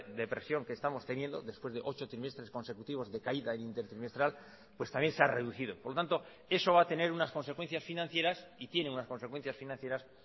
depresión que estamos teniendo después de ocho trimestres consecutivos de caída intertrimestral pues también se ha reducido por tanto eso va a tener unas consecuencias financieras y tiene unas consecuencias financieras